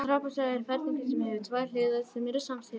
trapisa er ferhyrningur sem hefur tvær hliðar sem eru samsíða